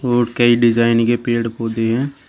और कई डिजाइन के पेड़ पौधे हैं।